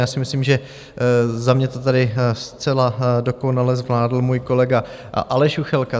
Já si myslím, že za mě to tady zcela dokonale zvládl můj kolega Aleš Juchelka.